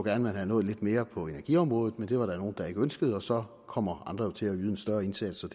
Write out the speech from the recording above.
at man havde nået lidt mere på energiområdet men det var der nogle der ikke ønskede og så kommer andre til at yde en større indsats og